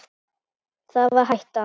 Það var hættan.